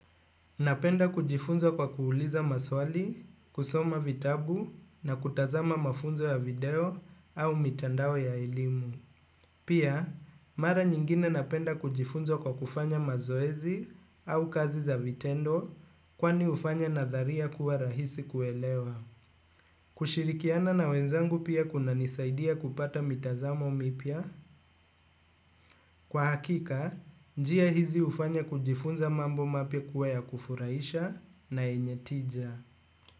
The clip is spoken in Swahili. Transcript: Napenda kujifunza kwa kuuliza maswali, kusoma vitabu na kutazama mafunzo ya video au mitandao ya elimu. Pia, mara nyingine napenda kujifunza kwa kufanya mazoezi au kazi za vitendo kwani hufanya nadharia kuwa rahisi kuelewa. Kushirikiana na wenzangu pia kuna nisaidia kupata mitazamo mipya. Kwa hakika, njia hizi hufanya kujifunza mambo mapya kuwa ya kufurahisha na yenye tija.